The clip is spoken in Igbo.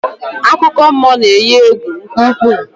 Akụkọmmụọ na-eyi egwu nke ukwuu